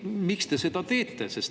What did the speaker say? Miks te seda teete?